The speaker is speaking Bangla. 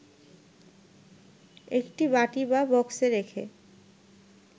একটি বাটি বা বক্সে রেখে